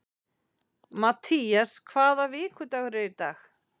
Mattías, hvaða vikudagur er í dag?